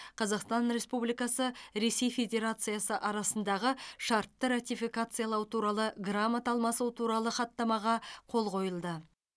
қазақстан республикасы ресей федерациясы арасындағы шартты ратификациялау туралы грамота алмасу туралы хаттамаға қол қойылды